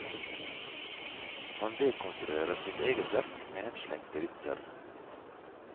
Han dekonstruerer sitt eget verk med henslengte vitser.